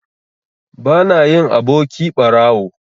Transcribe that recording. Bana yin aboki ɓarawo.